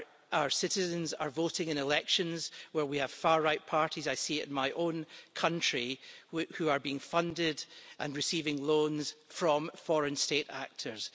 Our citizens are voting in elections where we have far-right parties I see it in my own country who are being funded and receiving loans from foreign state actors.